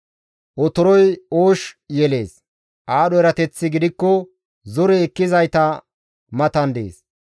Otoroy oosh yelees; aadho erateththi gidikko zore ekkizayta matan dees.